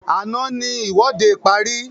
Àná ní ìwọ́de parí